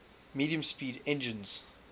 medium speed engines